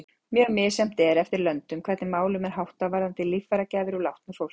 Mjög misjafnt er eftir löndum hvernig málum er háttað varðandi líffæragjafir úr látnu fólki.